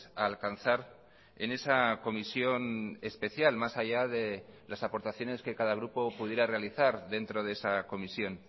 a alcanzar en esa comisión especial más allá de las aportaciones que cada grupo pudiera realizar dentro de esa comisión